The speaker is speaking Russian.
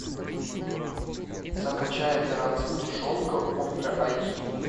закачай операция тушенка ультра айчди